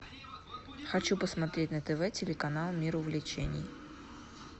хочу посмотреть на тв телеканал мир увлечений